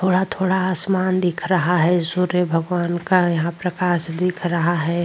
थोड़ा-थोड़ा आसमान दिख रहा है सूर्य भगवान का यहां प्रकाश दिख रहा है।